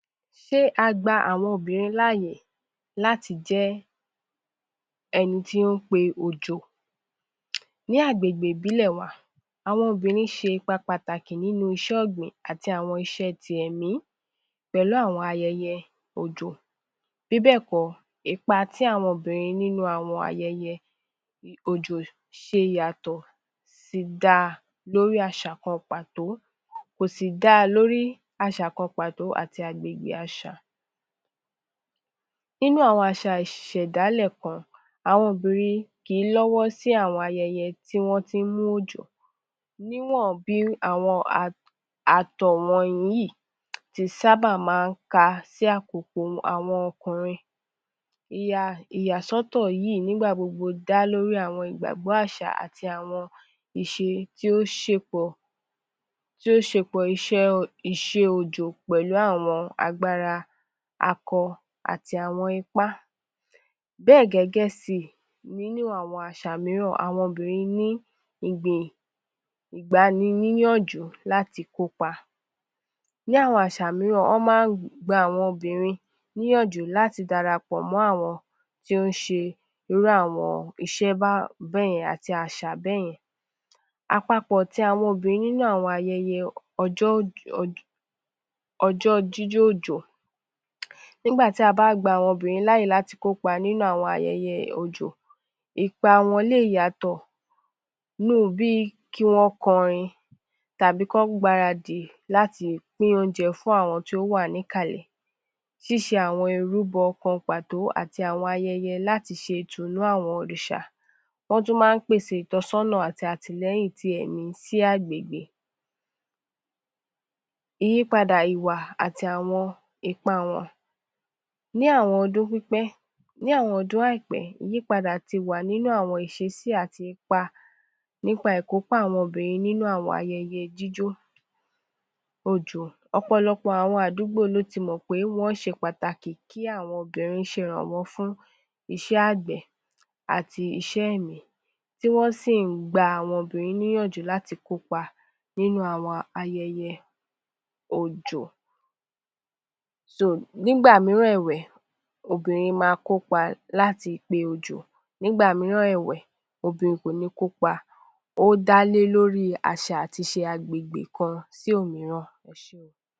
Ṣé a gba àwọn obinrin láàyè láti jẹ́ ẹni tí ń pe òjò, ní agbègbè ìbílẹ̀ wà, àwọn obìnrin ṣe ipa pàtàkì nínú iṣẹ́ ọgbìn àti àwọn iṣẹ́ tí ẹ̀mí pẹ̀lú àwọn ayẹyẹ òjò, bí bẹ́ẹ̀ kọ̀, ipa ti àwọn obìnrin nínú ayẹyẹ òjò ṣe ìyàtọ̀ si dá lórí àṣà kan pàtó, kò sí da lórí àṣà kan pàtó àti àgbègbè àṣà. Nínú àwọn àṣà ìṣẹ̀dálẹ̀ kan, àwọn obìnrin kì í lọ́wọ́ sí àwọn ayẹyẹ tí wọn tí ń mú òjò, níwọ̀n bí àwọn àtọ̀ wọ̀nyí tí sábà máa ń ka sí àkókò àwọn ọkùnrin, ìyàsọ́tọ̀ yìí gbogbo dá lórí ìgbàgbọ́ àṣà àti àwọn ìṣe tí ó ṣe pọ̀ tí ó ṣe pó ìṣe òjò pẹ̀lú àwọn agbára akọ àti àwọn ipá. Bẹ́ẹ̀ gẹ́gẹ́ sí ní àwọn àṣà mìíràn, àwọn obìnrin ni igbani níyànjú láti kópa. Ní àwọn àṣà mìíràn láti gba àwọn obìnrin níyànjú láti dàrapọ̀ mọ́ àwọn tí ó ń ṣe irú àwọn iṣẹ́ bẹ́ẹ̀ yẹn àti àwọn àṣà bẹ́ẹ̀ yẹn. Àpapọ̀ tí àwọn obìnrin nínú àwọn ayẹyẹ ọjọ[]́ jíjọ́ ọ̀jọ̀ nígbà tí a bá a gba àwọn obìnrin láàyè kópa nínú àwọn ayẹyẹ òjò, ipa wọn lé yàtọ̀ nínú bí kí wọn kọrin tàbí kí wọn gbáradì láti pín oúnjẹ fún àwọn tí ó wà ní kalẹ̀. Ṣíṣe àwọn ìrúbọ kan pàtó àti àwọn ayẹyẹ láti ṣe, ìtùnú àwọn òrìṣà, wọn tún máa ń pèsè ìtọ́sọ́nà àti àtìlẹ́yìn tí ẹ̀mí sí àgbègbè. Ìyípadà ìwà àti àwọn ipa wọn: ni àwọn ọdún pípẹ́, ní àwọn ọdún àìpẹ́ ìyípadà tí wá nínú àwọn iṣesí àti ipa nípa ikópa àwọn ayẹyẹ idijó òjò, ọ̀pọ̀lọpọ̀ àwọn àdúgbò lọ tí mọ̀ pé wọn ṣe pàtàkì kí àwọn obìnrin ṣe ìrànwọ́ fún iṣẹ́ agbẹ̀ àti iṣẹ́ ẹ̀mí tí wọn sì ń gba àwọn obìnrin níyànjú láti kópa nínú àwọn ayẹyẹ òjò. Nígbà mìíràn ẹ̀wẹ̀, obìnrin máa kópa láti pe òjò. Nígbà mìíràn ẹ̀wẹ̀, obìnrin kò ní kópa dá lé lórí àṣà àti àgbègbè kan sí òmíràn. Ẹ ṣeun